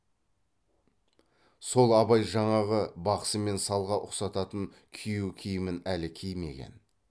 сол абай жаңағы бақсы мен салға ұқсататын күйеу киімін әлі кимеген